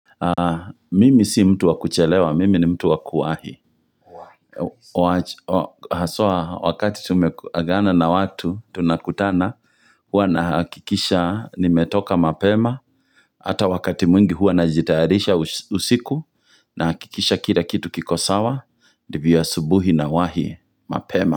Mimi si mtu wa kuchelewa, mimi ni mtu wa kuwahi Haswa wakati tumeagana na watu tunakutana huwa nahakikisha nimetoka mapema Hata wakati mwingi huua najitayarisha usiku nahakikisha kila kitu kiko sawa, ndivyo asubuhi nawahi mapema.